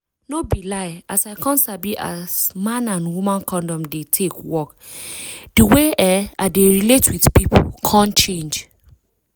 no be lie as i come sabi as man and woman condom dey take work di way[um]i dey relate with pipu come change